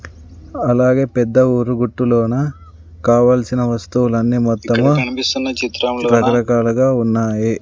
అలాగే పెద్ద ఊరు గుట్టు లోన కావల్సిన వస్తువులన్నీ మొత్తము రకరకాలుగా ఉన్నాయి.